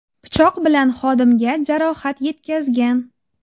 pichoq bilan xodimga jarohat yetkazgan.